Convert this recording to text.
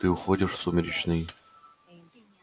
ты уходишь в сумеречный